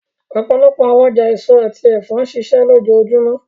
Ọpọlọpọ awọn ọja eso ati ẹfọ nṣiṣẹ lojoojumọ,